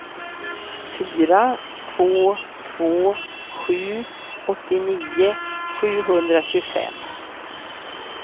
fyra två två sju åttionio sjuhundratjugofem